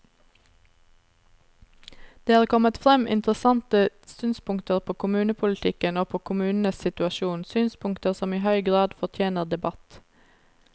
Det er kommet frem interessante synspunkter på kommunepolitikken og på kommunenes situasjon, synspunkter som i høy grad fortjener debatt.